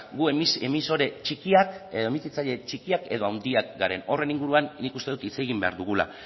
gu emisore txikiak edo handiak garen horren inguruan nik uste dut hitz egin behar dugula